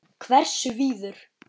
Hversu víður?